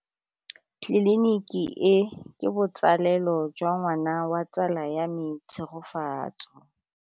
Tleliniki e, ke botsalêlô jwa ngwana wa tsala ya me Tshegofatso.